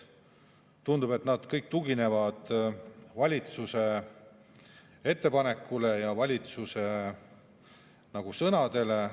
Tundub, et nad kõik tuginevad valitsuse ettepanekule ja valitsuse sõnadele.